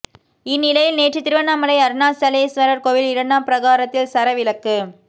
இந்நிலையில் நேற்று திருவண்ணாமலை அருணாசலேஸ்வரர் கோவில் இரண்டாம் பிரகாரத்தில் சர விளக்கு